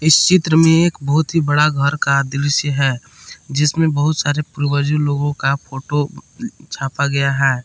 इस चित्र में एक बहुत ही बड़ा घर का दृश्य है जिसमें बहुत सारे पूर्वज लोगों का फोटो छापा गया है।